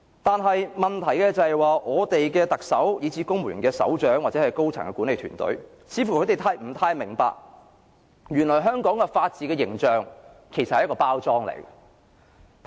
但問題是，我們的特首、公務員的首長，或高層的管理團隊，似乎不太明白原來香港法治的形象只是一個包裝。